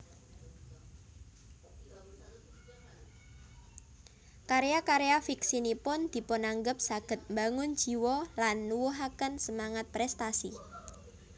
Karya karya fiksinipun dipunanggep saged mbangun jiwa lan nuwuhaken semangat prèstasi